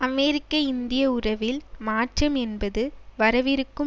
அமெரிக்கஇந்திய உறவில் மாற்றம் என்பது வரவிருக்கும்